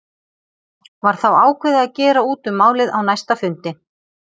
Var þá ákveðið að gera út um málið á næsta fundi.